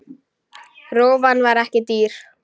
Rófan var ekki dýr.